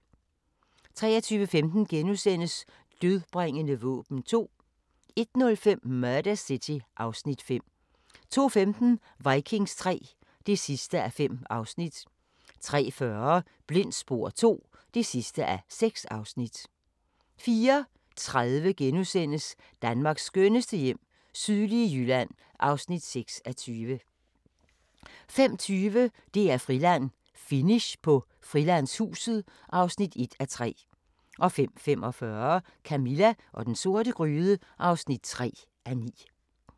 23:15: Dødbringende våben 2 * 01:05: Murder City (Afs. 5) 02:15: Vikings III (5:5) 03:40: Blindt spor II (6:6) 04:30: Danmarks skønneste hjem - sydlige Jylland (6:20)* 05:20: DR-Friland: Finish på Frilandshuset (1:3) 05:45: Camilla og den sorte gryde (3:9)